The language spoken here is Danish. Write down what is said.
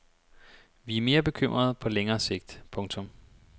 Vi er mere bekymrede på længere sigt. punktum